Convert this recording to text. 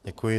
Děkuji.